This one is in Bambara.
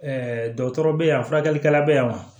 dɔkɔtɔrɔ bɛ yan furakɛlikɛla bɛ yan wa